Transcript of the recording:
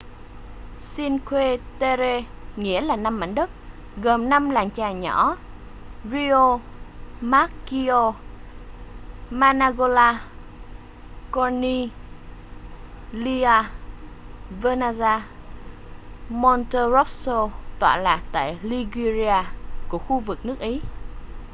cinque terre nghĩa là năm mảnh đất gồm năm làng chài nhỏ riomaggiore manarola corniglia vernazza và monterosso tọa lạc tại liguria của khu vực nước ý